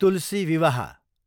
तुलसी विवाह